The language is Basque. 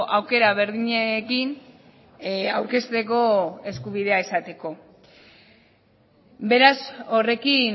aukera berdinekin aurkezteko eskubidea izateko beraz horrekin